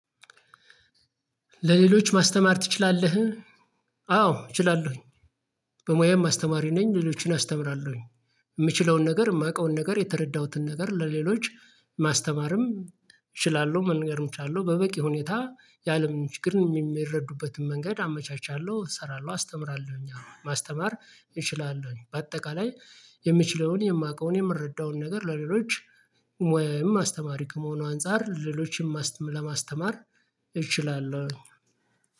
ለሌሎች ማስተማር ትችላለህ? አዎ እችላለሁኝ በሙያም አስተማሪ ነኝ ሌሎችን አስተምራለሁኝ የምችለውን ነገር የማውቀውን ነገር የተረዳሁትን ነገር ለሌሎች ማስተማርም እችላለሁ መንገርም ቻለሁ በበቂ ሁኔታ የአለምን ችግርን የሚረዱበትን መንገድ አመቻቻለሁ እሰራለሁ አስተምራለሁኝ አሁን ማስተማር እችላለሁኝ በአጠቃላይ የምችለውን የማውቀውን የምረዳውን ነገር ለሌሎች ወይም አስተማሪ ከመሆኑ አንፃር ለሌሎችም ለማስተማር እችላለሁ